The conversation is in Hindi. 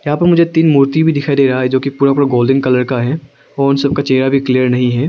यहां पर मुझे तीन मूर्ति भी दिखाई दे रहा है जो पूरा पूरा गोल्डन कलर का है और उन सब का चेहरा भी क्लियर नहीं है।